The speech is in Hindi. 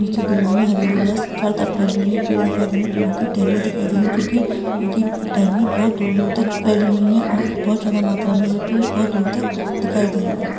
नीचे गिरी हुई हरी हरी घास चारो तरफ फैली हुई है पेड दिखाई दे रहे है पेडो की टेहनीया दिखाई दे रही है जोकी इन्कि टेहनीया बहुत दूर दूर फेहली हुई है और बहुत ज्यादा मात्रा में यह पेड बहुत दूर तक दिखाई दे रहे है।